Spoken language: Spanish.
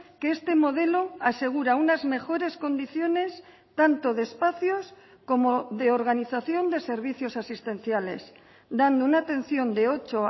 que este modelo asegura unas mejores condiciones tanto de espacios como de organización de servicios asistenciales dando una atención de ocho